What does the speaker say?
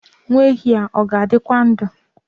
Nwa ehi a ọ ga-adịkwa ndụ?